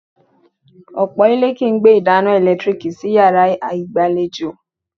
Ọ̀pọ̀ ilé kìí gbé ìdáná ẹ̀lẹ́tíríìkì sí yàrá ìgbàlejò